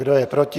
Kdo je proti?